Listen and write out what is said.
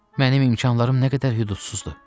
Mənim imkanlarım nə qədər hüdudsuzdur!